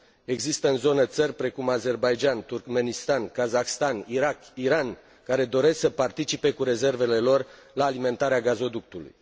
Există în zonă țări precum Azerbaidjan, Turkmenistan, Kazahstan, Irak, Iran, care doresc să participe cu rezervele lor la alimentarea gazoductului.